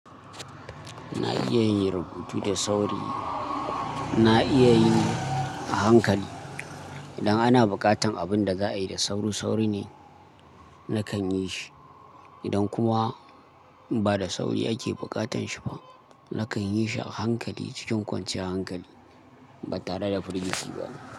Na iya yin rubutu da sauri, na iya yi a hankali. Idan ana buƙatar abin da za a yi da sauri, sauri ne nakan yi shi. Idan kuma ba da sauri ake buƙatar shi ba, nakan yi shi a hankali cikin kwanciyar hankali, ba tare da firgici ba.